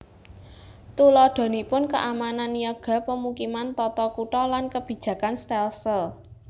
Tuladhanipun keamanan niaga pemukiman tata kutha lan kebijakan stelsel